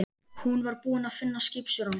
Hún var búin að finna skipstjórann.